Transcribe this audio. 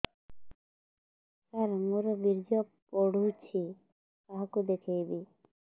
ସାର ମୋର ବୀର୍ଯ୍ୟ ପଢ଼ୁଛି କାହାକୁ ଦେଖେଇବି